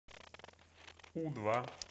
у два